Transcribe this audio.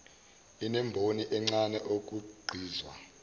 inemboni encane okhiqizwa